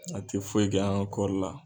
A tɛ foyi kɛ an ka kɔɔri la.